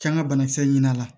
K'an ka banakisɛ ɲini a la